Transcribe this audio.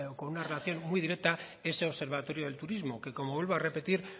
con una relación muy directa ese observatorio de turismo que como vuelvo a repetir